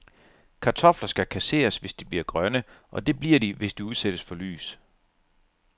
Kartofler skal kasseres, hvis de bliver grønne, og det bliver de, hvis de udsættes for lys.